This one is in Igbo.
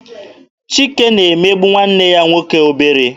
Chike na-emegbu nwanne ya nwoke obere.